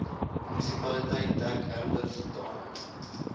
munisipaliteit dek herbertsdale